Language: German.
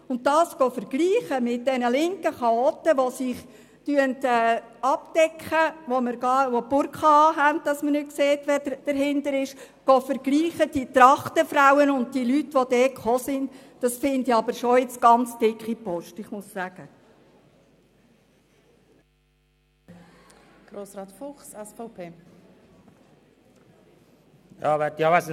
Diese linken Chaoten, die das Gesicht verdecken und eine Burka tragen, damit man nicht sieht, wer darunter steht, mit den Trachtenfrauen und den anderen Teilnehmern zu vergleichen, empfinde ich als sehr dicke Post, das muss ich schon sagen.